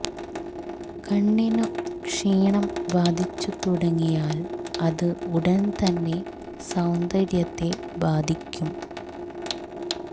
കണ്ണിനു ക്ഷീണം ബാധിച്ചു തുടങ്ങിയാൽ അത് ഉടൻ തന്നെ സൌന്ദര്യത്തെ ബാധിക്കും